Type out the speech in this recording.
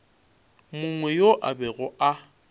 mongwe yo a bego a